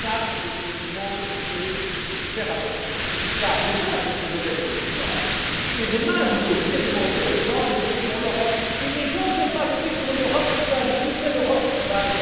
l'Europe. Je vous demande de faire attention, car demain, vous pouvez être au pouvoir, et demain, vous pouvez demander aux gens de voter pour l'Europe, et les gens ne vont pas voter pour une Europe que vous aviez qualifiée d'Europe